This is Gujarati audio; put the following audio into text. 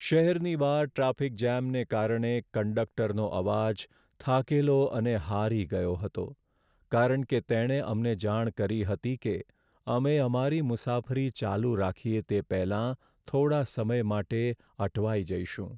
શહેરની બહાર ટ્રાફિક જામને કારણે કંડકટરનો અવાજ થાકેલો અને હારી ગયો હતો કારણ કે તેણે અમને જાણ કરી હતી કે અમે અમારી મુસાફરી ચાલુ રાખીએ તે પહેલાં થોડા સમય માટે અટવાઈ જઈશું.